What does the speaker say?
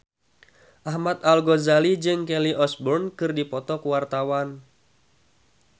Ahmad Al-Ghazali jeung Kelly Osbourne keur dipoto ku wartawan